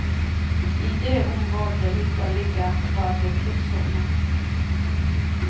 I det området hytta ligger, var det krigssone.